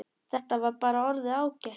Þetta var bara orðið ágætt.